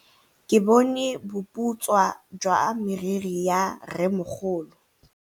Ke bone boputswa jwa meriri ya rrêmogolo.